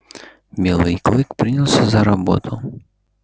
белый клык принялся за работу